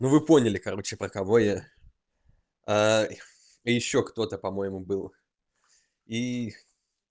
ну вы поняли короче про кого я и ещё кто-то по-моему был и